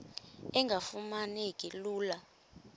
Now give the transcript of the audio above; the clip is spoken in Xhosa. engafuma neki lula